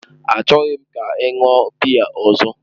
Achọghị m ka ị ṅụọ biya ọzọ!